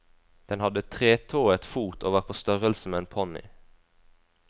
Den hadde tretået fot og var på størrelse med en ponny.